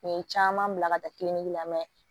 U ye caman bila ka taa kiliniki la